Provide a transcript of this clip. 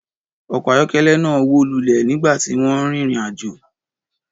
Ọkọ̀ ayọ́kẹ́lẹ́ náà wó lulẹ̀ nígbà tí wọ́n ń rin ìrìn-àjò.